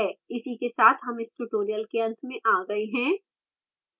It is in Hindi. इसी के साथ हम इस tutorial के अंत में आ गए हैं